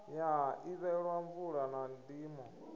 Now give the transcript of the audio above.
ya ḓivhelwa mvula na ndimo